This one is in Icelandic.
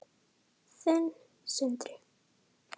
Þinn, Sindri.